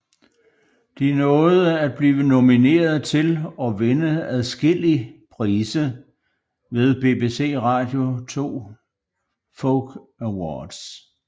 De nåede at blive nomineret til og vinde adskillig prise ved BBC Radio 2 Folk Awards